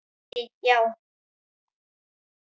Lillý: Já?